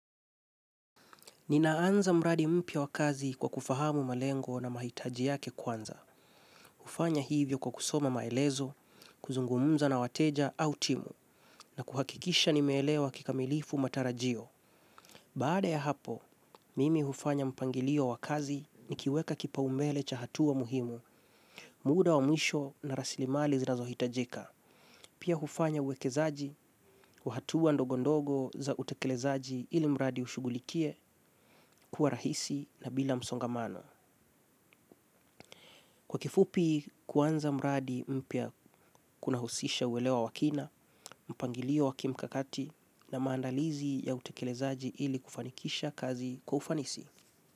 Ninaanza mradi mpya wa kazi kwa kufahamu malengo na mahitaji yake kwanza. Hufanya hivyo kwa kusoma maelezo, kuzungumza na wateja au timu, na kuhakikisha nimeelewa kikamilifu matarajio. Baada ya hapo, mimi hufanya mpangilio wa kazi nikiweka kipaumbele cha hatua muhimu, muda wa mwisho na rasilimali zinazohitajika. Pia hufanya uwekezaji wa hatua ndogo ndogo za utekelezaji ili mradi ushughulikie kuwa rahisi na bila msongamano. Kwa kifupi kuanza mradi mpya kunahusisha uelewa wa kina, mpangilio wa kimkakati na maandalizi ya utekelezaji ili kufanikisha kazi kwa ufanisi.